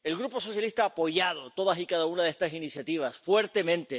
El Grupo socialista ha apoyado todas y cada una de estas iniciativas, fuertemente.